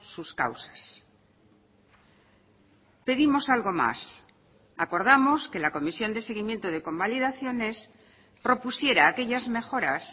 sus causas pedimos algo más acordamos que la comisión de seguimiento de convalidaciones propusiera aquellas mejoras